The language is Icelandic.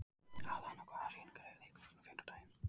Atlanta, hvaða sýningar eru í leikhúsinu á fimmtudaginn?